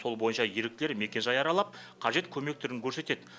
сол бойынша еріктілер мекенжай аралап қажет көмек түрін көрсетеді